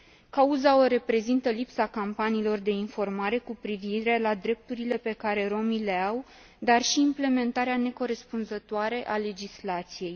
Cauza o reprezintă lipsa campaniilor de informare cu privire la drepturile pe care romii le au, dar și implementarea necorespunzătoare a legislației.